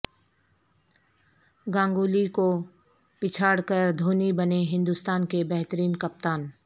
گنگولی کو پچھاڑ کر دھونی بنے ہندوستان کے بہترین کپتان